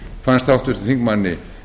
fannst háttvirtum þingmanni